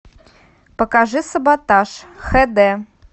покажи саботаж хэ дэ